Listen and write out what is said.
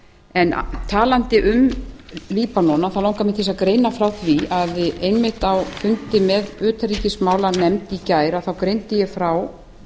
en talandi um líbanon þá langar mig til að greina frá því að einmitt á fundi með utanríkismálanefnd í gær þá greindi ég frá